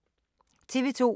TV 2